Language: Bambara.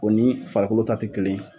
O ni farikolo ta tɛ kelen ye